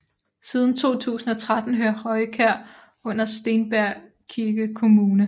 Siden 2013 hører Rojkær under Stenbjergkirke kommune